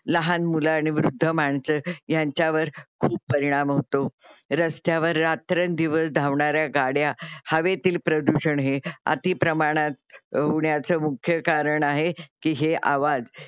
लहान मुल आणि वृद्ध माणस ह्यांच्यावर खूप परिणाम होतो. रस्त्यावर रात्रंदिवस धावणाऱ्या गाड्या, हवेतील प्रदूषण हे अती प्रमाणात होण्याच मुख्य कारण आहे कि हे आवाज